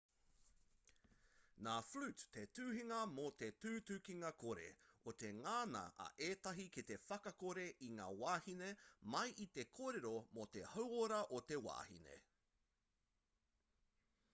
nā flute te tuhingā mō te tutukinga-kore o te ngana a ētahi ki te whakakore i ngā wāhine mai i te kōrero mō te hauora o te wahine